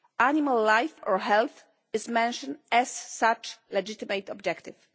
Animal life or health is mentioned as such a legitimate objective.